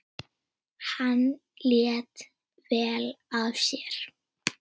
Hann lét vel af sér.